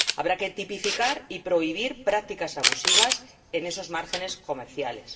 habrá que tipificar y prohibir prácticas abusivas en esos márgenes comerciales